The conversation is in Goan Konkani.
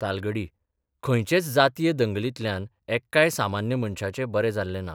तालगडी खंयचेच जातीय दंगलींतल्यान एक्काय सामान्य मनशाचें बरें जाल्ले ना.